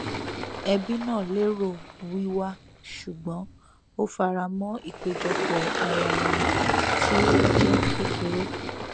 ẹbí náà lérò wíwá ṣùgbọn ó faramọ ìpéjọpọ ara ẹni tí ó jẹ kékeré